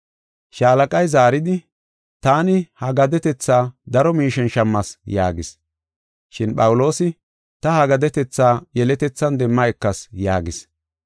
Shaalaqay zaaridi, “Taani ha gadetetha daro miishen shammas” yaagis. Shin Phawuloosi, “Ta ha gadetetha yeletethan demma ekas” yaagis.